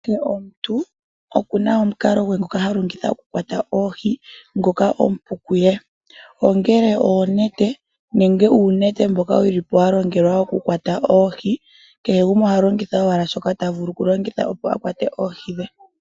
Kehe omuntu okuna omukalo gwe ngoka halongitha okukwata oohi ngoka omupu kuye ongele okulongitha oonete nenge uunete mboka walongelwa wokukwata oohi. Oshi ikwatelela owala komuntu yemwene kutya omukalo guni ta vulu okulongitha opo a kwate oohi dhe.